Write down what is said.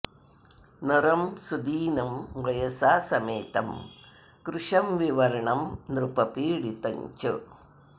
नरं सुदीनं वयसा समेतं कृशं विवर्णं नृपपीडितं च